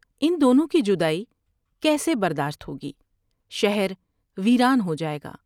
ان دونوں کی جدائی کیسے برداشت ہو گی ۔شہرویران ہو جائے گا ۔